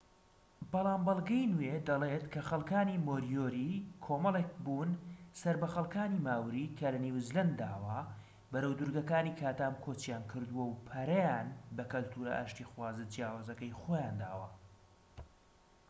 بەڵام بەلگەی نوێ دەڵێت کە خەلکانی مۆریۆری کۆمەڵێك بوون سەر بە خەلکانی ماوری کە لە نیوزیلەنداوە بەرەو دورگەکانی کاتام کۆچیان کردووە و پەرەیان بە کەلتورە ئاشتیخوازە جیاوازەکەی خۆیان داوە